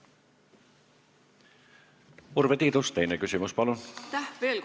Urve Tiidus, teine küsimus, palun!